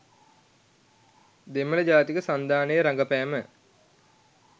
දෙමළ ජාතික සන්ධානයේ රඟපෑම